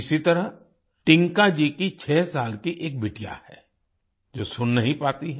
इसी तरह टिंकाजी की छह साल की एक बिटिया है जो सुन नहीं पाती है